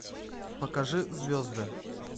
покажи звезды